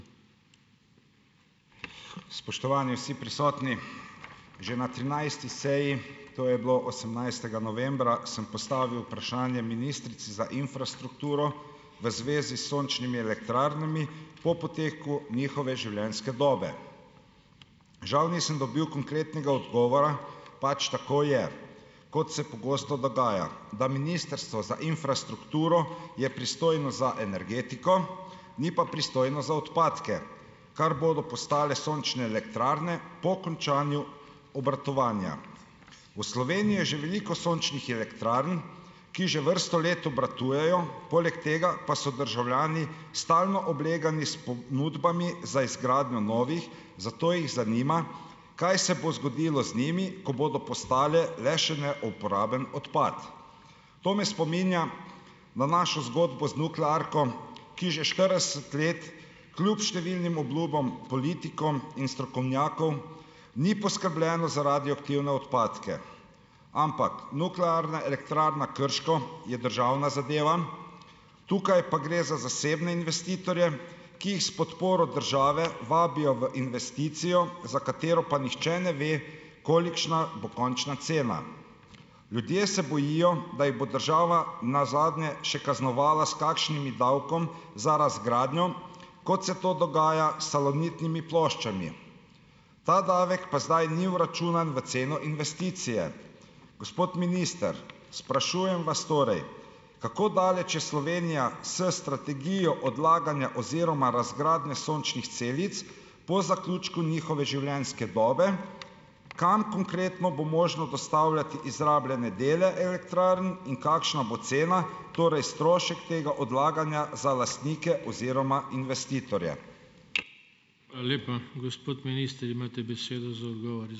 Spoštovani vsi prisotni. Že na trinajsti seji, to je bilo osemnajstega novembra, sem postavil vprašanje ministrici za infrastrukturo v zvezi s sončnimi elektrarnami po poteku njihove življenjske dobe. Žal nisem dobil konkretnega odgovora, pač tako je, kot se pogosto dogaja, da Ministrstvo za infrastrukturo je pristojno za energetiko, ni pa pristojno za odpadke, kar bodo postale sončne elektrarne po končanju obratovanja. V Sloveniji je že veliko sončnih elektrarn, ki že vrsto let obratujejo. Poleg tega pa so državljani stalno oblegani s ponudbami za izgradnjo novih, zato jih zanima, kaj se bo zgodilo z njimi, ko bodo postale le še neuporaben odpad. To me spominja na našo zgodbo z nuklearko, ki že štirideset let, kljub številnim obljubam politikom in strokovnjakom, ni poskrbljeno za radioaktivne odpadke, ampak Nuklearna elektrarna Krško je državna zadeva, tukaj pa gre za zasebne investitorje, ki jih s podporo države vabijo v investicijo, za katero pa nihče ne ve, kolikšna bo končna cena. Ljudje se bojijo, da jih bo država nazadnje še kaznovala s kakšnimi davkom za razgradnjo, kot se to dogaja s salonitnimi ploščami. Ta davek pa zdaj ni vračunan v ceno investicije. Gospod minister, sprašujem vas torej, kako daleč je Slovenija s strategijo odlaganja oziroma razgradnje sončnih celic, po zaključku njihove življenjske dobe. Kam konkretno bo možno dostavljati izrabljene dele elektrarn in kakšna bo cena? Torej strošek tega odlaganja za lastnike oziroma investitorje?